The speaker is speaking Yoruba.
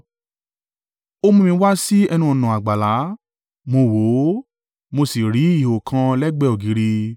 Ó mú mi wá sí ẹnu-ọ̀nà àgbàlá. Mo wò ó, mo sì rí ihò kan lẹ́gbẹ̀ẹ́ ògiri.